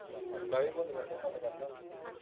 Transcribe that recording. ਮੈਂ ਭੀ ਭੁੱਲ ਗਿਆ sim ਬੰਦ ਕਰਦਾਂ